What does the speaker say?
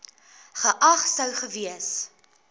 geag sou gewees